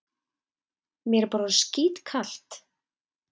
Mér er bara orðið skítkalt.